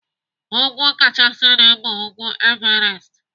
Úgwú kachasịnu bu ugwu Everest.